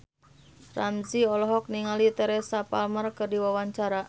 Ramzy olohok ningali Teresa Palmer keur diwawancara